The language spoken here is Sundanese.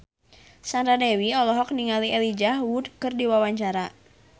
Sandra Dewi olohok ningali Elijah Wood keur diwawancara